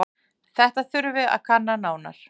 Þetta þurfi að kanna nánar.